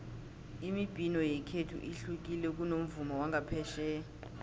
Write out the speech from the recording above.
imibhino yekhethu ihlukile kunomvumo wangaphetjheya